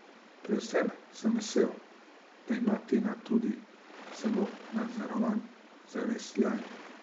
Predvsem sem vesel, da ima Tina tudi zelo nadzorovan zavesljaj.